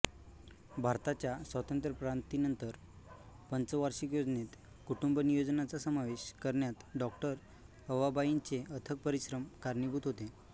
भारताच्या स्वातंत्र्यप्राप्तीनंतर पंचवार्षिक योजनेत कुटुंबनियोजनाचा समावेश करण्यात डॉ अवाबाईंचे अथक परिश्रम कारणीभूत होते